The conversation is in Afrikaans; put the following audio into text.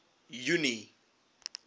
junie